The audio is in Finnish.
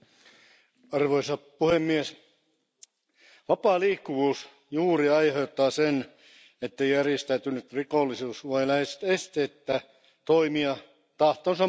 Arvoisa puhemies, vapaa liikkuvuus juuri aiheuttaa sen, että järjestäytynyt rikollisuus voi lähes esteettä toimia tahtonsa mukaan.